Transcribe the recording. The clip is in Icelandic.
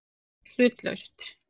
sagði hann hlutlaust.